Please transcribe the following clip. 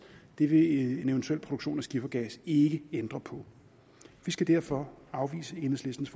det vil en eventuel produktion af skifergas ikke ændre på vi skal derfor afvise enhedslistens